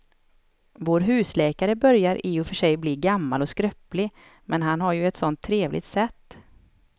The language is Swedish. Vår husläkare börjar i och för sig bli gammal och skröplig, men han har ju ett sådant trevligt sätt!